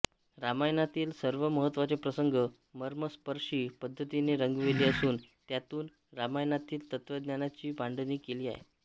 रामायणातील सर्व महत्त्वाचे प्रसंग मर्मस्पर्शी पद्धतीने रंगविले असून त्यातून रामायणातील तत्त्वज्ञानाची मांडणी केली आहे